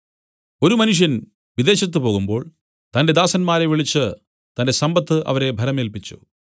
ഒരു മനുഷ്യൻ വിദേശത്തു പോകുമ്പോൾ തന്റെ ദാസന്മാരെ വിളിച്ചു തന്റെ സമ്പത്ത് അവരെ ഭരമേല്പിച്ചു